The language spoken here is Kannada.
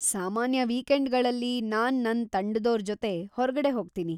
ಸಾಮಾನ್ಯ ವೀಕೆಂಡ್‌ಗಳಲ್ಲಿ ನಾನ್‌ ನನ್ ತಂಡದೋರ್ ಜೊತೆ ಹೊರ್ಗಡೆ ಹೋಗ್ತೀನಿ.